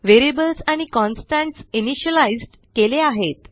variables आणि constants initialized केले आहेत